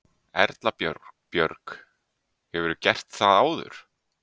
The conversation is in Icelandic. Erla Björg: Hefurðu gert það áður?